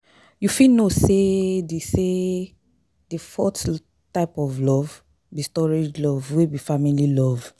You fit know say di say di fourth type of love be storge love wey be family love.